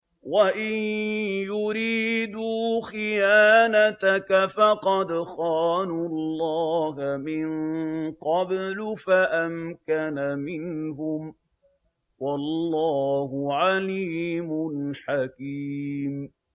وَإِن يُرِيدُوا خِيَانَتَكَ فَقَدْ خَانُوا اللَّهَ مِن قَبْلُ فَأَمْكَنَ مِنْهُمْ ۗ وَاللَّهُ عَلِيمٌ حَكِيمٌ